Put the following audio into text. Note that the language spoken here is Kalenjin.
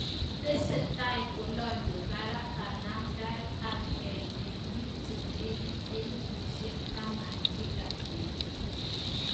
Tesetai kolanyee barak kanamdaet ap kei eng piik chelegit elefusiek taman kila petut